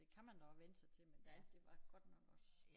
Det kan man da også vænne sig til men det andet det var godt nok også